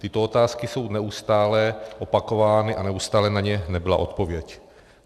Tyto otázky jsou neustále opakovány a neustále na ně nebyla odpověď.